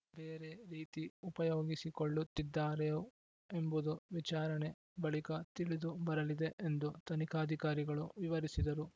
ಬೇರೆ ರೀತಿ ಉಪಯೋಗಿಸಿಕೊಳ್ಳುತ್ತಿದ್ದಾರೋ ಎಂಬುದು ವಿಚಾರಣೆ ಬಳಿಕ ತಿಳಿದು ಬರಲಿದೆ ಎಂದು ತನಿಖಾಧಿಕಾರಿಗಳು ವಿವರಿಸಿದರು